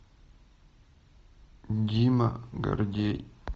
дима гордей